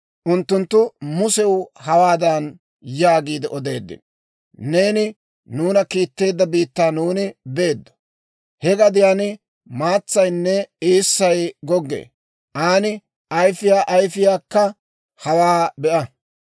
Unttunttu Musew hawaadan yaagiide odeeddino; «Neeni nuuna kiitteedda biittaa nuuni beeddo; he gadiyaan maatsaynne eessay goggee. Aan ayifiyaa ayfiyaakka hawaa be'a.